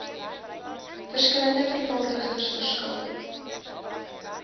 verskillende vervaardigers verskil